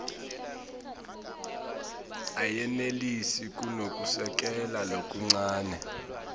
ayenelisi kunekusekela lokuncane